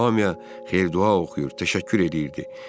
O hamıya xeyir-dua oxuyur, təşəkkür eləyirdi.